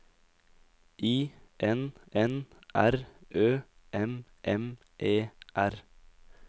I N N R Ø M M E R